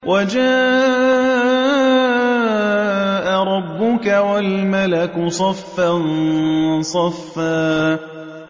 وَجَاءَ رَبُّكَ وَالْمَلَكُ صَفًّا صَفًّا